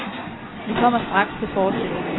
Vi kommer straks til forestillingen.